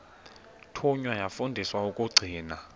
thunywa yafundiswa ukugcina